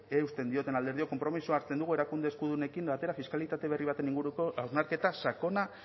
eusten dioten alderdiok konpromisoa hartzen dugu erakunde eskudunekin batera fiskalitate berri baten inguruko hausnarketa sakona